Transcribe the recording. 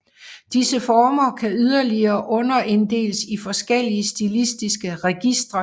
Disse former kan yderligere underinddeles i forskellige stilistiske registre